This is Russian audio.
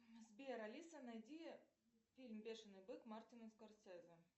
сбер алиса найди фильм бешеный бык мартина скорсезе